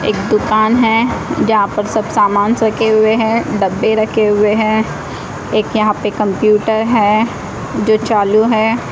एक दुकान है जहां पर सब सामानस रखे हुए हैं डब्बे रखे हुए हैं एक यहां पे कंप्यूटर है जो चालू है।